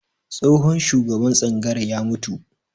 Tsohon shugaban tsangayar ya mutu